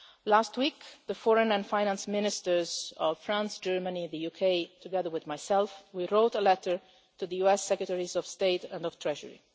Last week, the Foreign and Finance Ministers of France, Germany and the UK, together with myself, wrote a letter to the US Secretaries of State and of the Treasury.